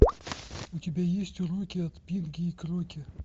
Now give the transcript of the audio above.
у тебя есть уроки от пинги и кроки